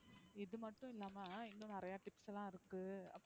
இதுமட்டும் இல்லாம இன்னும் நிறைய tips லாம் இருக்கு,